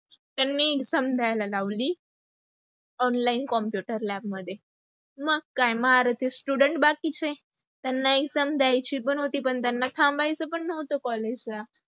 त्यांनी समजायला लावली. online computer lab मध्ये. मग काय अर्धी student बाकीचे, त्यांना exam द्यायची पण होती पण त्यांना थांबायच्च पण नव्हत collage ला